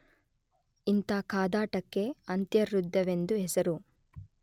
ಇಂಥ ಕಾದಾಟಕ್ಕೆ ಅಂತರ್ಯುದ್ಧವೆಂದು ಹೆಸರು.